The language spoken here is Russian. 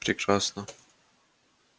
прекрасно